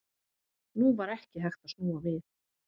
Nú var ekki hægt að snúa við.